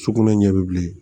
Sukunɛ ɲɛ bɛ bilen